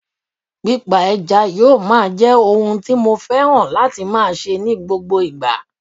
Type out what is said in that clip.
Pípa ẹja yóò máa jẹ́ ohun tí mo fẹ́ran láti máa ṣe ní gbogbo ìgbà